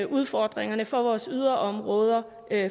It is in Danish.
udfordringerne for vores yderområder